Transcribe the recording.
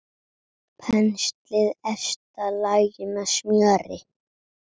Penslið efsta lagið með smjöri.